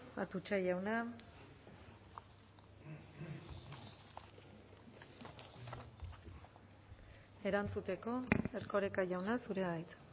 atutxa jauna erantzuteko erkoreka jauna zurea da hitza